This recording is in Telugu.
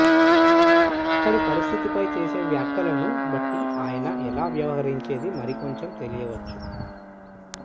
అక్కడి పరిస్థితిపై చేసే వ్యాఖ్యలను బట్టి ఆయన ్ ఎలా వ్యవహరించేది మరికొంచెం తెలియొచ్చు